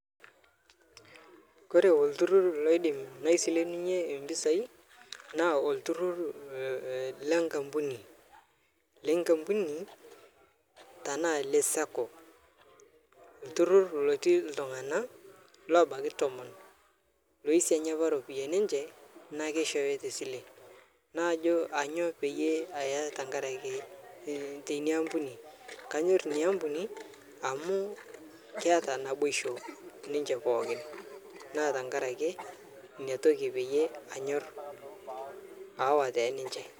Ore olturrur laidim naisilenunye impisai naa olturrur lenkampuni tenaa le {Sacco} lotii iltunganak loobaiki tomon ooisanya impisai enye amu ore iropiyiani enye naa keishoori te sile. Najo aainyio pee aya tina ampuni. Anyor ina ampuni amu keeta naboisho ninche pookin neaku ina pee anyor aawa te ninche